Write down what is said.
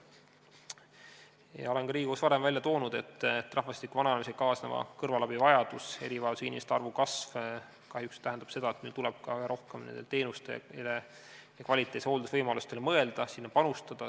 Olen ka varem Riigikogus välja öelnud, et rahvastiku vananemisega kaasneva kõrvalabi vajadus ja erivajadustega inimeste arvu kasv tähendab kahjuks seda, et meil tuleb rohkem mõelda sellekohaste teenuste ja kvaliteetse hoolduse võimalustele, sinna panustada.